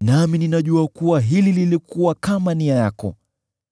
nami ninajua kuwa hili lilikuwa katika nia yako: